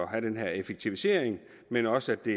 have den her effektivisering men også at det